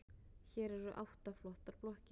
Hér eru átta flottar blokkir.